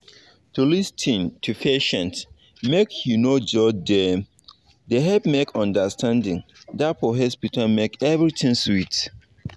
to lis ten to patients make u no judge dem dey help make understanding da for hospital make everything sweet